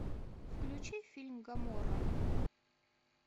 включи фильм гоморра